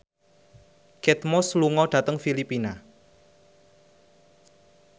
Kate Moss lunga dhateng Filipina